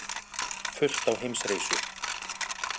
Fullt á Heimsreisu